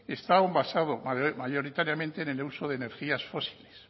está aún basado mayoritariamente en el uso de energías fósiles